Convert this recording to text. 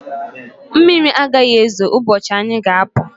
Mmiri agaghi ezo ụbọchị anyị ga apụ